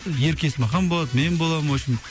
ерке есмахан болады мен боламын в общем